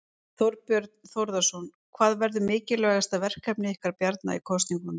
Þorbjörn Þórðarson: Hvað verður mikilvægasta verkefni ykkar Bjarna í kosningunum?